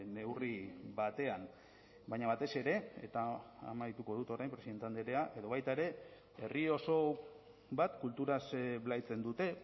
neurri batean baina batez ere eta amaituko dut orain presidente andrea edo baita ere herri oso bat kulturaz blaitzen dute